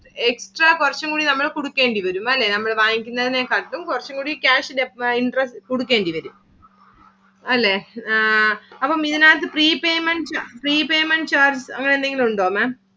extra കുറച്ചും കൂടി നമ്മള് കൊടുക്കേണ്ടി വരും. അല്ലെ നമ്മള് വാങ്ങിക്കുന്നതിനെ കാട്ടിലും കുറച്ചു കൂടി cash interest കൊടുക്കേണ്ടി വരും. അല്ലെ അപ്പം ഇതിനകത്തു pre payment charges pre payment charge അങ്ങനെ എന്തെങ്കിലും ഉണ്ടോ Maám